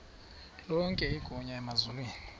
lonke igunya emazulwini